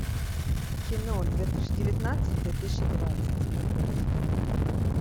кино две тысячи девятнадцать две тысячи двадцать смотреть